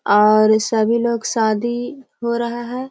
और सभी लोग शादी हो रहा है ।